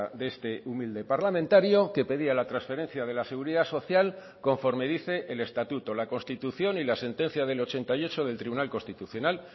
de este humilde parlamentario que pedía la transferencia de la seguridad social conforme dice el estatuto la constitución y la sentencia del ochenta y ocho del tribunal constitucional